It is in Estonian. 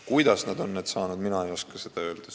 Kuidas ta on need saanud, mina ei oska öelda.